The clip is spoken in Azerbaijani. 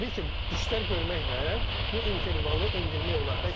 Təbii ki, işlər görməklə bu intervalı endirmək olar.